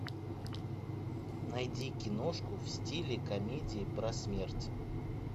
найди киношку в стиле комедии про смерть